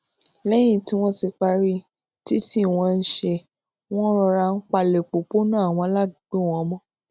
léyìn tí wón ti parí títì wọn ńṣe ni wón rọra ń palè òpópónà àwọn aládùúgbò wọn mó